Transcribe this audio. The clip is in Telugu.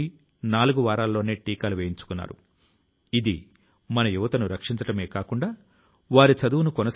ఎందుకంటే మనం మన వనరుల ను సక్రమం గా ఉపయోగించినప్పుడు వాటిని వ్యర్థం కానివ్వం